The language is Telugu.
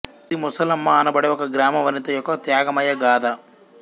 ఇది ముసలమ్మ అనబడే ఒక గ్రామవనిత యొక్క త్యాగమయ గాథ